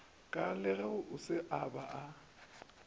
ka le go se ba